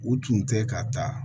U tun tɛ ka taa